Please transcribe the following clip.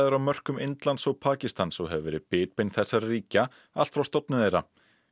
á mörkum Indlands og Pakistans og hefur verið bitbein þessara ríkja allt frá stofnun þeirra